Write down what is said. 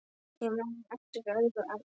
Ég man eftir öðru atviki.